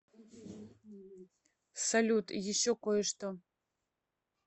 салют еще кое что